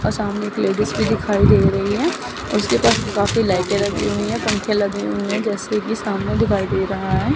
आ सामने एक लेडिस भी दिखाई दे रही है उसके पास काफी लाइटें लगी हुई है पंखे लगीं हुए हैं जैसे कि सामने दिखाई दे रहा है।